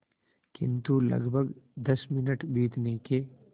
किंतु लगभग दस मिनट बीतने के